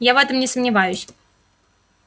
я в этом не сомневаюсь